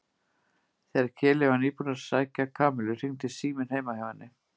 Þegar Keli var nýbúinn að sækja Kamillu hringdi síminn heima hjá henni.